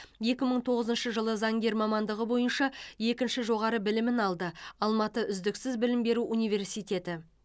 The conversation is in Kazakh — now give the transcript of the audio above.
екі мың тоғызыншы жылы заңгер мамандығы бойынша екінші жоғары білімін алды алматы үздіксіз білім беру университеті